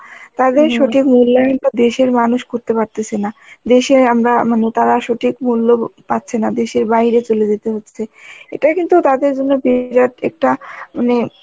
তাদের সঠিক মূল্যায়নটা দেশের মানুষ করতে পারতেসে না. দেশে আমরা মানে তারা সঠিক মূল্য পাচ্ছে না দেশের বাহিরে চলে যেতে হচ্ছে, এটা কিন্তু তাদের জন্য বিরাট একটা মানে